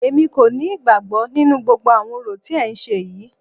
Èmi kò ní ìgbàgbọ nínú gbogbo àwọn orò tí ẹ ń ṣe yìí.